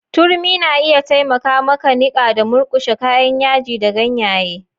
Turmi na iya taimaka maka niƙa da murkushe kayan yaji da ganyaye.